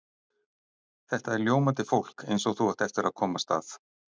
Þetta er ljómandi fólk eins og þú átt eftir að komast að.